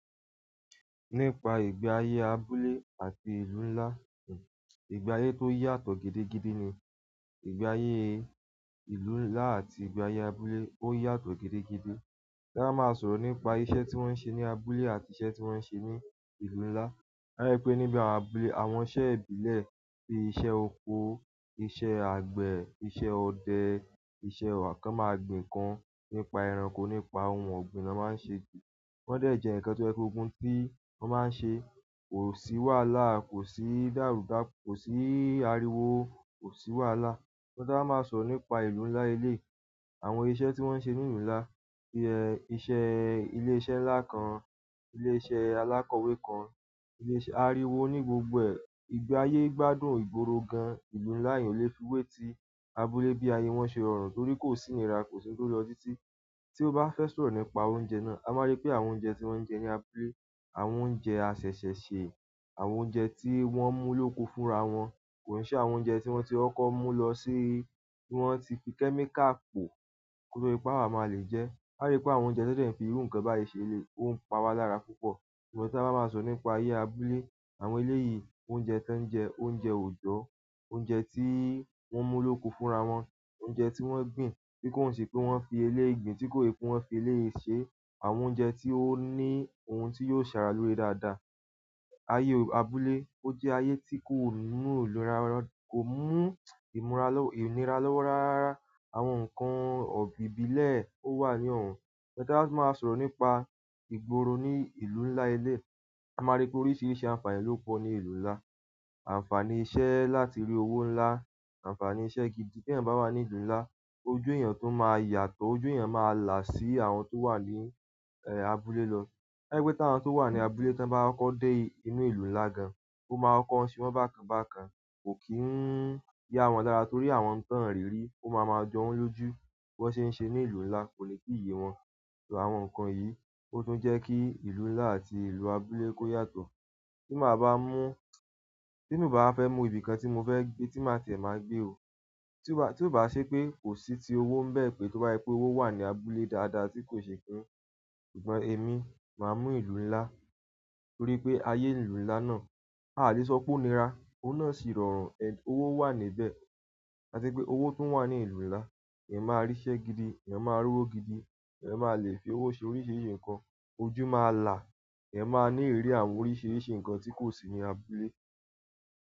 Nípa ìgbé ayé abúlé àti ìlú ńlá, ìgbé ayé tó yàtọ̀ gidigidi ni. Ìgbé ayé ìlú ńlá àti ìgbé ayé abúlé ó yàtọ̀ gidigidi. Tí a bá máa sọ̀rọ̀ nípa iṣẹ́ tí wọ́n ń ṣe ní abúlé àti iṣẹ́ tí wọ́n ń ṣe ní ìlú ńlá. A rí pé níbi àwọn abúlé, àwọn iṣẹ́ ìbílẹ̀ bí i iṣẹ́ oko, iṣẹ́ àgbẹ̀, iṣẹ́ ọdẹ, iṣẹ́ ọwọ́ kan máa gbin kan nípa ẹranko, nípa ohun ọ̀gbìn ló máa ń ṣe jù. Wọ́n dẹ̀ jẹ ǹkan tó yẹ ko gun tí wọ́n máa ń ṣe. Kò sí wàhálà, kò sí dàrúdapo, kò sí ariwo, kò sí wàhálà. Tí a bá máa sọ̀rọ̀ nípa ìlú ńlá eleyi, àwọn iṣẹ́ tí wọ́n ń ṣe ní ìlú ńlá bí i iṣẹ́ ilé iṣẹ́ ńlá kan, ilé iṣẹ́ alákọ̀wé kan, ilé iṣẹ́ ariwo ní gbogbo ẹ̀, ìgbé ayé gbádùn ìgboro gan-an ìlú ńlá è ò lè fiwé ti abúlé bí ayé wọn ṣe rọrùn torí kò sí nìrà, kò sí ń tó lọ títí. Tí ó bá fẹ́ sọ̀rọ̀ nípa oúnjẹ náà, a máa rí pé àwọn oúnjẹ tí wọ́n ń jẹ ní abúlé, àwọn oúnjẹ asese ṣe, àwọn oúnjẹ tí wọ́n mú lóko fúnra wọn, kò ní ṣe àwọn oúnjẹ tí wọ́n ti wọ́n kó mú lọ sí-- tí wọ́n ti fi kẹ́míkà pò kó tó di pé à máa lè jẹ ẹ́. A ri pe àwọn oúnjẹ ti won fi iru nkan bayi se, o n pa wa lára púpọ̀ ìgbà tí a bá máa sọ̀rọ̀ nípa ayé abúlé, àwọn eleyi yìí, oúnjẹ tí wọ́n ń jẹ, oúnjẹ oòjò, oúnjẹ tí wọ́n mú lóko fúnra wọn, oúnjẹ tí wọ́n gbìn tí kò sì pé wọ́n fi ilé ìgbín tí kò yẹ kó fi ilé yìí ṣe, àwọn oúnjẹ tí ó ní ohun tí yóò ṣàrà lòore dáadáa. Ayé abúlé ó jẹ́ ayé tí kò mú ìnira, kò mú ìnira-- inira lọ́wọ́ rárá. Àwọn ǹkan ìbílẹ̀ ó wà ní òun. Ti a ba fi maa sọ̀rọ̀ nípa ìgboro ni ìlú ńlá eleyi, a maa ri pe oríṣiríṣi àǹfààní lo po ni ìlú ńlá àǹfààní iṣẹ́ láti ri owo ńlá, àǹfààní iṣẹ́ gidi ti eyan ba wa ni ìlú ńlá ojú eyan tun ma la ju àwọn to wa ni abúlé lo to je pe àwọn to wa ni abúlé ti won ba koko de ìlú ńlá gan, o maa koko se won bákan bákan ko kii n ya won lára torí àwọn ohun ti won o ri ri o ma ma jo loju bi won se n se ni ìlú ńlá ko le ti ye won. Àwọn ǹkan yìí ó tún jẹ́ kí ìlú ńlá àti ìlú abúlé kó yàtọ̀. Tí màá bá mú-- tí mo bá fẹ́ mú ibìkan tí mo fẹ́ gbé tí màá tẹ̀, màá gbé ò. Tí ó bá, tí ó bá ṣe pé kò sí ti owó ń bẹ́ẹ̀ pé tó bá yí pé owó wà ní abúlé dáadáa tí kò ṣe pé. Ṣùgbọ́n èmi máa mú ìlú ńlá torí pé ayé ìlú ńlá náà a lè sọ pé ó nira, ó náà sì rọrùn, owó wà níbẹ̀. Láti pé owó tún wà ní ìlú ńlá, èèyàn máa ri íṣẹ́ gidi, èèyàn máa ri owó gidi, èèyàn máa lè fi owó ṣe oríṣiríṣi ǹkan, ojú máa là, èèyàn máa ní ìrírí àwọn oríṣiríṣi ǹkan tí kò sí ní abúlé.